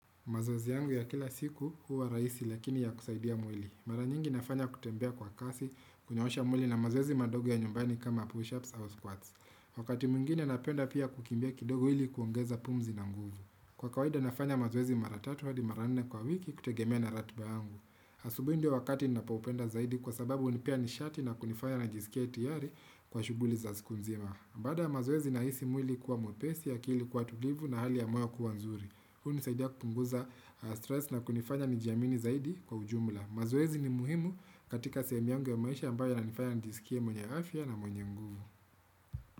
Mazoezi yangu ya kila siku huwa rahisi lakini ya kusaidia mwili. Mara nyingi nafanya kutembea kwa kasi, kunyoosha mwili na mazoezi madogo ya nyumbani kama push-ups au squats. Wakati mwingine napenda pia kukimbia kidogo ili kuongeza pumzi na nguvu. Kwa kawaida nafanya mazoezi mara tatu hadi mara nne kwa wiki kutegemea na ratba yangu. Asubuhi ndio wakati ninapoupenda zaidi kwa sababu hunipea nishati na kunifanya najisikia tayari kwa shuguli za siku nzima. Baada mazoezi nahisi mwili kuwa mwepesi akili kuwa tulivu na hali ya moyo kuwa nzuri. Hunisaidia kupunguza stress na kunifanya nijiamini zaidi kwa ujumula. Mazoezi ni muhimu katika sehemu yangu ya maisha ambayo inanifanya njisikie mwenye afya na mwenye mguvu.